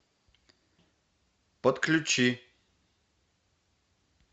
подключи